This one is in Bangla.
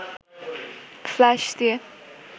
ফ্লাশ দিয়ে